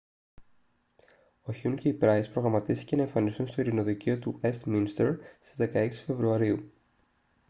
ο χιουν και η πράις προγραμματίστηκε να εμφανιστούν στο ειρηνοδικείο του ουεστμίνστερ στις 16 φεβρουαρίου